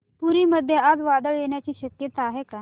पुरी मध्ये आज वादळ येण्याची शक्यता आहे का